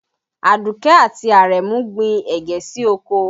Àdùkẹ́ àti Àrẹ̀mú gbin ẹ̀gẹ́ sí oko